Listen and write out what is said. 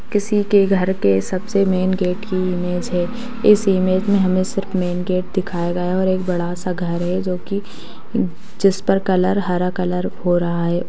किसी के घर के सबसे मेन गेट की इमेज है इस इमेज में हमें सिर्फ मेन गेट दिखाया गया और एक बड़ा सा घर है जो की जिस पर कलर हरा कलर हो रहा है।